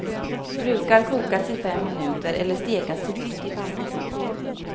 Brukar kokas i fem minuter eller stekas till pytt i panna.